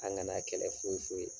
An ŋana kɛlɛ foyi foyi;